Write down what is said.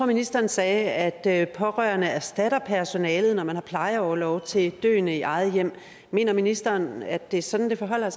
ministeren sagde at pårørende erstatter personalet når man har plejeorlov til døende i eget hjem mener ministeren at det er sådan det forholder